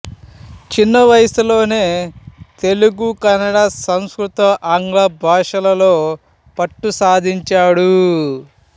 చిన్న వయసులోనే తెలుగు కన్నడ సంస్కృత ఆంగ్ల భాషలలో పట్టు సాధించాడు